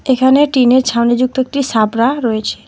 এখানে টিনের ছাউনিযুক্ত একটি সাবড়া রয়েছে।